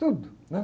Tudo, né?